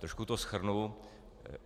Trošku to shrnu.